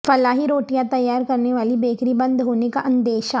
فلاحی روٹیاں تیار کرنے والی بیکری بند ہونے کا اندیشہ